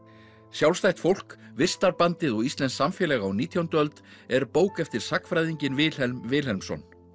sjálfstætt fólk vistarbandið og íslenskt samfélag á nítjándu öld er bók eftir sagnfræðinginn Vilhelm Vilhelmsson